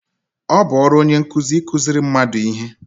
Ọ bụ ọrụ onye nkụzi ịkụziṛị mmadụ ihe